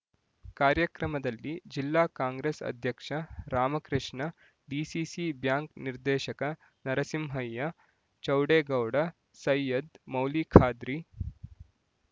ಕಾರ್ಯಕ್ರಮದಲ್ಲಿ ಜಿಲ್ಲಾ ಕಾಂಗ್ರೆಸ್ ಅಧ್ಯಕ್ಷ ರಾಮಕೃಷ್ಣ ಡಿಸಿಸಿ ಬ್ಯಾಂಕ್ ನಿರ್ದೇಶಕ ನರಸಿಂಹಯ್ಯ ಚೌಡೇಗೌಡ ಸೈಯದ್ ಮೌಲಿಖಾದ್ರಿ